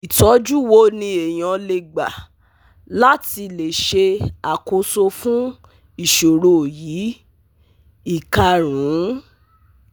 Itoju wo ni eyan le gba la ti le se akoso fun isoro yi, Ikarun